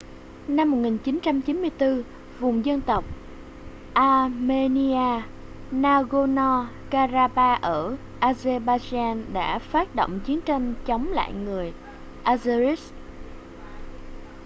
năm 1994 vùng dân tộc armenia nagorno-karabakh ở azerbaijan đã phát động chiến tranh chống lại người azeris